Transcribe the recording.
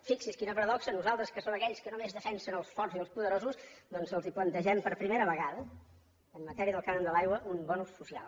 fixi’s quina paradoxa nosaltres que som aquells que només defensem els forts i els poderosos doncs els plantegem per primera vegada en matèria del cànon de l’aigua un bo social